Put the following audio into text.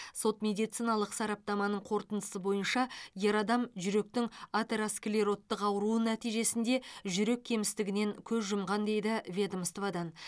сот медициналық сараптаманың қорытындысы бойынша ер адам жүректің атеросклероттық ауруы нәтижесінде жүрек кемістігінен көз жұмған дейді ведомстводан